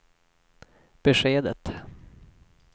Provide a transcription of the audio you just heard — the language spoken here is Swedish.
beskedet